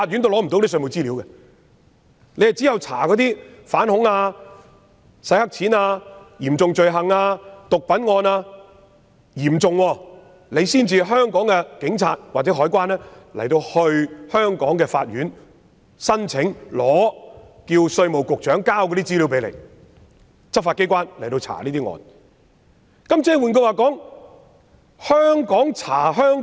只有在調查反恐、洗黑錢、嚴重罪行及毒品等嚴重案件時，香港的警察或海關才能向香港的法院提出申請，要求稅務局局長交出稅務資料，讓執法機關展開調查。